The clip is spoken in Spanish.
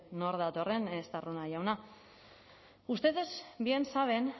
nor datorren estarrona jauna ustedes bien saben